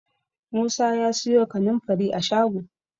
Musa ya siyo kanin fari a shago